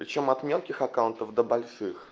причём от мелких аккаунтов до больших